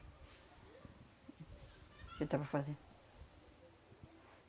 Eu esava fazendo?